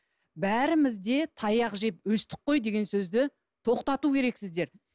бәріміз де таяқ жеп өстік қой деген сөзді тоқтату керексіздер